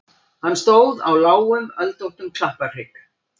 Hann stóð á lágum öldóttum klapparhrygg.